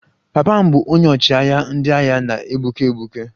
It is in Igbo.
Papa m bụ onye ọchịagha ndị agha na-egbuke egbuke